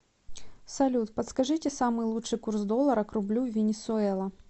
салют подскажите самый лучший курс доллара к рублю в венесуэла